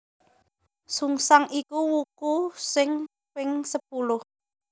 Sungsang iku wuku sing ping sepuluh